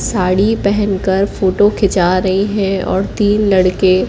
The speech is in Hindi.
साड़ी पेहनकर फोटो खींचा रहीं हैं और तीन लड़के--